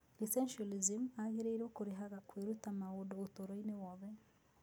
Essentialism agĩrĩirũo kũrehaga kwĩruta maũndũ ũtũũro-inĩ wothe.